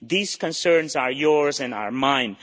These concerns are yours and are mine.